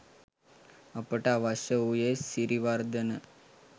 අපට අවශ්‍ය වූයේ සිරිවර්ධන